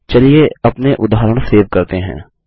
चलिए अपने उदाहरण सेव करते हैं